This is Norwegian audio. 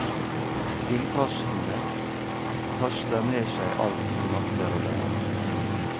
Vindkastene kaster med seg alt de makter å bære.